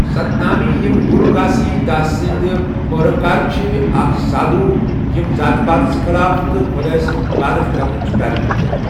سَتنٲمی، یِم گُروٗ گھاسیی داسٕ سندِ پٲروكار چھِ ، اَکھ سادھوٗ ییٚمہِ ذات پاتس خٕلاف تہٕ خۄداے سٕنٛز عبادت کرنٕچہِ پیروی کٔر۔